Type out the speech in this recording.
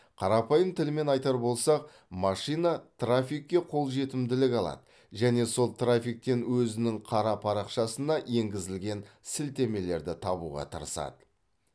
қарапайым тілмен айтар болсақ машина трафикке қолжетімділік алады және сол трафиктен өзінің қара парақшасына енгізілген сілтемелерді табуға тырысады